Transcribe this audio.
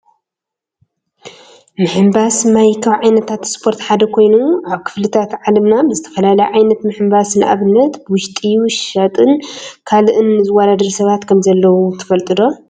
ምሕንባስ ማይ ካብ ዓይነታት ስፖርት ሓደ ኮይኑ ኣብ ክፍልታት ዓለምና ብዝተፈላለዩ ዓይነት ምሕንባስ ንኣብነት ብውሽጢ ውሽጥን ካልእን ዝዋዳደሩ ሰባት ከምዘለዉ ትፈልጡ ዶ?